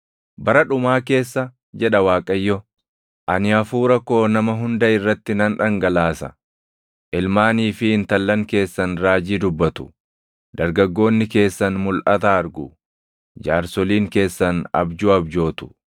“ ‘Bara dhumaa keessa, jedha Waaqayyo, ani Hafuura koo nama hunda irratti nan dhangalaasa; ilmaanii fi intallan keessan raajii dubbatu; dargaggoonni keessan mulʼata argu; jaarsoliin keessan abjuu abjootu.